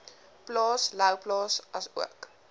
plaas louwplaas asook